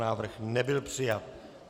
Návrh nebyl přijat.